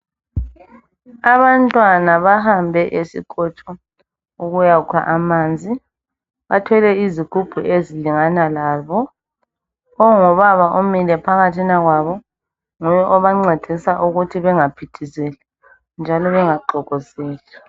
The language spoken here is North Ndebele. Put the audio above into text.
Abantwana bahambe esinkotsho ukuya kukha amanzi bathwele izigubhu ezilingana labo ongubaba omile phakathi kwabo nguye obancedisa ukuthi bengaphithizeli njalo bengaxhokozeli